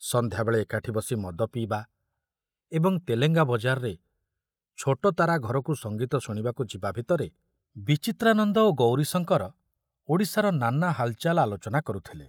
ସଂଧ୍ୟାବେଳେ ଏକାଠି ବସି ମଦ ପିଇବା ଏବଂ ତେଲେଙ୍ଗାବଜାରରେ ଛୋଟତାରା ଘରକୁ ସଂଗୀତ ଶୁଣିବାକୁ ଯିବା ଭିତରେ ବିଚିତ୍ରାନନ୍ଦ ଓ ଗୌରୀଶଙ୍କର ଓଡ଼ିଶାର ନାନା ହାଲଚାଲ ଆଲୋଚନା କରୁଥିଲେ।